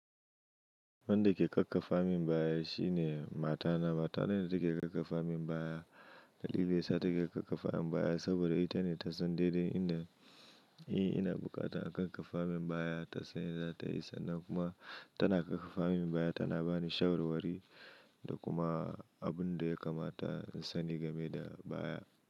Wanda ke ƙaƙƙafa min baya shine matana. Mata na ne take ƙaƙƙafa min baya. Dalili yasa take ƙaƙƙafa min baya saboda ita ne ta san daidai inda, eh ina bukata a ƙaƙƙafa min baya. Ta sani da tayi sannan kuma tana ƙaƙƙafa min baya, tana bani shawarwari da kuma abun da ya kamata in sani game da baya.